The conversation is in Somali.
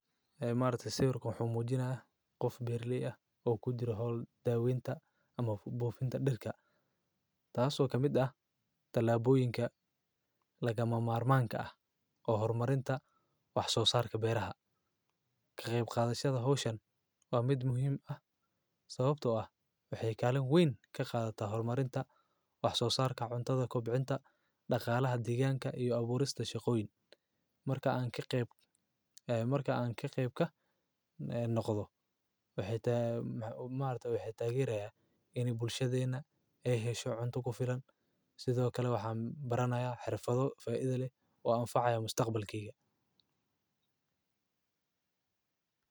Haay, maarta sawirka xumuujina ah, qof beer li a o ku jira daawinta ama buufinta dhidhka, taasoo ka mida talaabooyinka lagama maarmaanka ah oo hormarinta wax soo saarka beeraha. Kaqeyb qaadashada hooshan waa mid muhiim ah sababtoo ah waxyeellaan wayn ka qaadata hormarinta wax soo saarka, cuntada kubcinta, dhaqaalaha diggaanka iyo abuurista shaqooyin. Marka aan ka qayb- ee marka aan ka qayb ka noqdo, waxay taag, maanta waxay taageereeya in bulshadeena ay hesho cunto ku filan sidoo kale waxaan baranaya xirfado fay'dele waa an faciyo mustaqbalkiga.